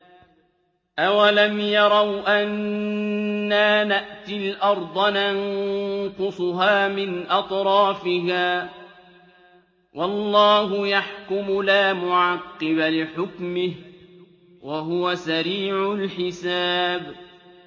أَوَلَمْ يَرَوْا أَنَّا نَأْتِي الْأَرْضَ نَنقُصُهَا مِنْ أَطْرَافِهَا ۚ وَاللَّهُ يَحْكُمُ لَا مُعَقِّبَ لِحُكْمِهِ ۚ وَهُوَ سَرِيعُ الْحِسَابِ